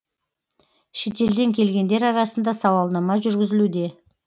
шетелден келгендер арасында сауалнама жүргізілуде